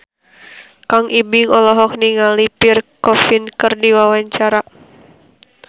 Kang Ibing olohok ningali Pierre Coffin keur diwawancara